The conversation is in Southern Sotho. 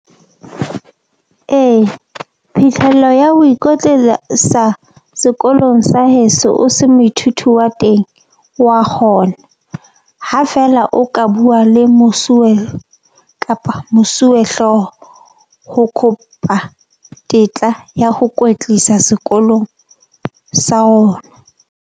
Ee phihlelo ya ho sekolong sa heso o se moithuti wa teng, wa kgona ha feela o ka bua le mosuwe kapa mosuwehlooho. Ho kopa tetla ya ho kwetlisa sekolong sa rona.